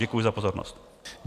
Děkuji za pozornost.